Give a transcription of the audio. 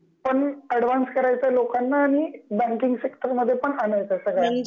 कारण त्यांना डिजिटली पण ऍडव्हान्स करायचं आहे लोकांना आणि बँकिंग सेक्टर मध्ये पण आणायचं आहे सगळ्यांना